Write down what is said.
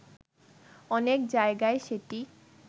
অনেক জায়গায় সেটি